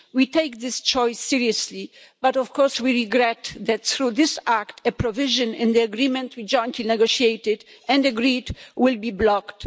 We take this choice seriously, but of course we regret that, through this act, a provision in the agreement we jointly negotiated and agreed will be blocked.